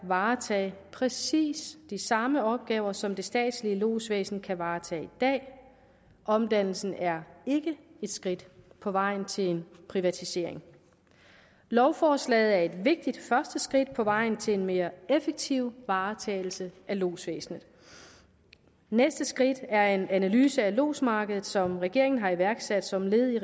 varetage præcis de samme opgaver som det statslige lodsvæsen kan varetage i dag omdannelsen er ikke et skridt på vejen til en privatisering lovforslaget er et vigtigt første skridt på vejen til en mere effektiv varetagelse af lodsvæsenet næste skridt er en analyse af lodsmarkedet som regeringen har iværksat som led i